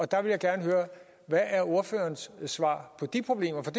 der vil jeg gerne høre hvad er ordførerens svar på de problemer for